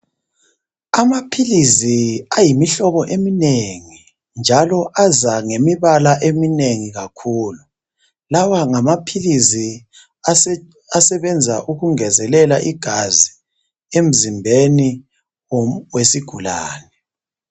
Amaphilizi ayimihlobo eminengi njalo aza ngemibala eminengi kakhulu lawa ngamaphilizi asebenza ukungezelela igazi emzimbeni wesigulane.